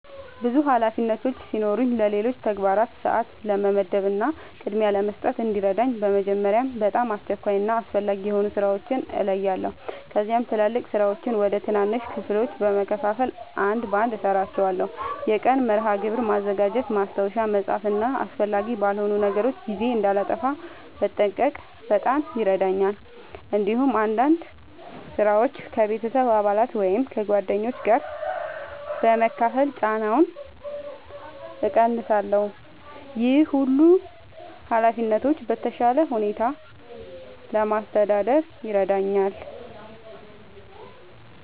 ብዙ ኃላፊነቶች ሲኖሩኝ ለሌሎች ተግባራት ሰአት ለመመደብ እና ቅድሚያ ለመስጠት እንዲረዳኝ በመጀመሪያ በጣም አስቸኳይ እና አስፈላጊ የሆኑ ሥራዎችን እለያለሁ። ከዚያም ትላልቅ ሥራዎችን ወደ ትናንሽ ክፍሎች በመከፋፈል አንድ በአንድ እሠራቸዋለሁ። የቀን መርሃ ግብር ማዘጋጀት፣ ማስታወሻ መጻፍ እና አስፈላጊ ባልሆኑ ነገሮች ጊዜ እንዳላጠፋ መጠንቀቅ በጣም ይረዳኛል። እንዲሁም አንዳንድ ሥራዎችን ከቤተሰብ አባላት ወይም ከጓደኞች ጋር በመካፈል ጫናውን እቀንሳለሁ። ይህ ሁሉንም ኃላፊነቶች በተሻለ ሁኔታ ለማስተዳደር ይረዳኛል።